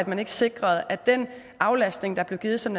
man ikke sikrede at den aflastning der blev givet som